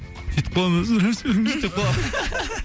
сөйтіп қаламын деп қаламын